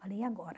Falei, e agora?